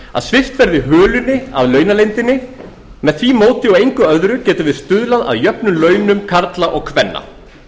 að svipta hulunni af launaleyndinni með því móti og engu öðru getum við stuðlað að jöfnum launum karla og kvenna